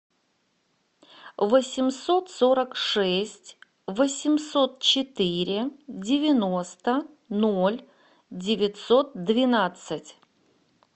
восемьсот сорок шесть восемьсот четыре девяносто ноль девятьсот двенадцать